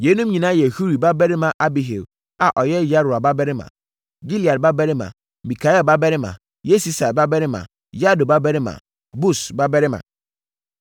Yeinom nyinaa yɛ Huri babarima Abihail a ɔyɛ Yaroa babarima, Gilead babarima, Mikael babarima, Yesisai babarima Yahdo babarima, Bus babarima.